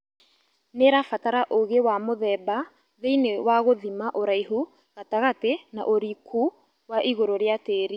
Nĩrabatara ũgĩ wa mũthemba thĩinĩ wa gũthima ũraihu gatagatĩ na ũriku wa igũrũ rĩa tĩri